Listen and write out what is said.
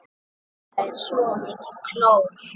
Þetta er svo mikið klór.